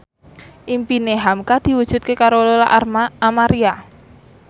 impine hamka diwujudke karo Lola Amaria